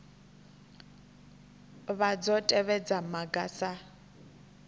vha dzo tevhedza maga sa